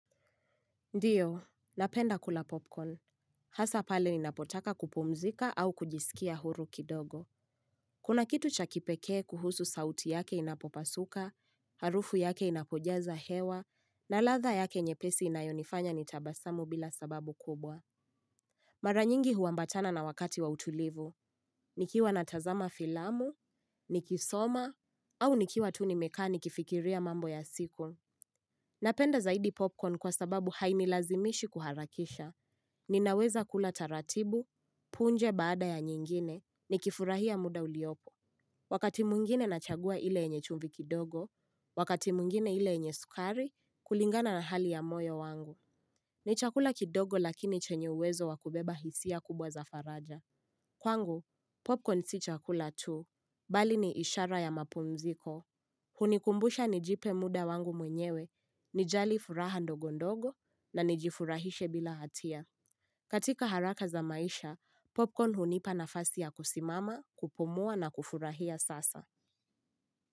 Ndiyo, napenda kula popcorn. Hasaa pale ni napotaka kupumzika au kujisikia huru kidogo. Kuna kitu cha kipekee kuhusu sauti yake inapopasuka, harufu yake inapojaza hewa, na latha yake nyepesi inayonifanya nitabasamu bila sababu kubwa. Mara nyingi huwambatana na wakati wa utulivu. Nikiwa natazama filamu, nikisoma, au nikiwa tu nimekaa nikifikiria mambo ya siku. Napenda zaidi popcorn kwa sababu hainilazimishi kuharakisha. Ninaweza kula taratibu, punje baada ya nyingine, nikifurahia muda uliopo. Wakati mwingine nachagua ile enye chumbi kidogo, wakati mwingine ile enye sukari, kulingana na hali ya moyo wangu. Ni chakula kidogo lakini chenye uwezo wakubeba hisia kubwa za faraja. Kwangu, popcorn si chakula tu, bali ni ishara ya mapumziko. Hunikumbusha nijipe muda wangu mwenyewe, nijali furaha ndogo ndogo na nijifurahishe bila hatia. Katika haraka za maisha, popcorn hunipa nafasi ya kusimama, kupumua na kufurahia sasa.